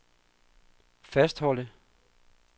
fastholde